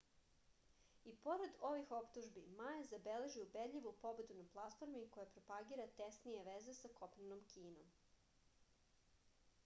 i pored ovih optužbi ma je zabeležio ubedljivu pobedu na platformi koja propagira tesnije veze sa kopnenom kinom